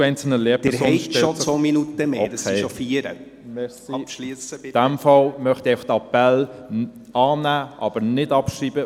In dem Fall mache ich folgenden Appell: annehmen, aber nicht abschreiben.